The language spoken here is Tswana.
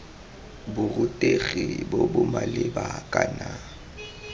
borutegi bo bo maleba kana